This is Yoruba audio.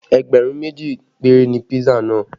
Ẹgbẹ̀rún méjì péré ni pisa náà